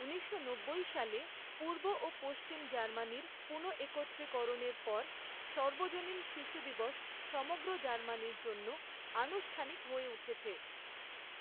ঊনিশশো নব্বই সালে পূর্ব ও পশ্চিম জার্মানির পুনঃএকত্রীকরণের পর, সর্বজনীন শিশুদিবস সমগ্র জার্মানির জন্য আনুষ্ঠানিক হয়ে উঠেছে।